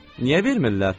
Niyə vermirlər?